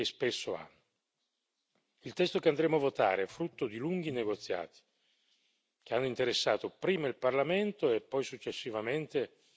Il testo che andremo a votare è frutto di lunghi negoziati che hanno interessato prima il Parlamento e, successivamente, il Parlamento con il Consiglio.